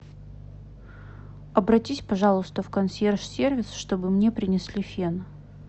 обратись пожалуйста в консьерж сервис чтобы мне принесли фен